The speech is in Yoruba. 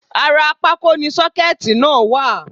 Ara pákó ni sọ́kẹ̀tì náà wà